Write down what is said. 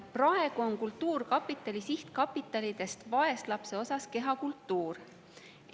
Praegu on kultuurkapitali sihtkapitalidest vaeslapse osas kehakultuuri.